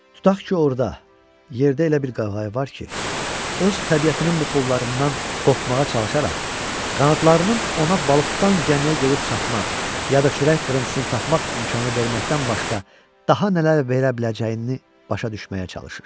Tutaq ki orda, yerdə elə bir qaqayı var ki, öz təbiətinin buxovlarından qopmağa çalışaraq, qanadlarının ona balıq tutan gəmiyə gedib çatmaq, ya da çörək qırıntısını tapmaq imkanı verməkdən başqa daha nələr verə biləcəyini başa düşməyə çalışır.